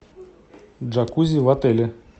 джакузи в отеле